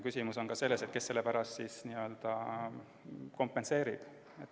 Küsimus on ka selles, kes selle pärast kompenseerib.